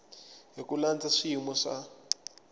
hi ku landza swiyimo swa